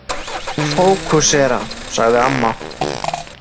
Fókusera, sagði amma.